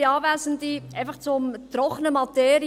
Einfach zur trockenen Materie: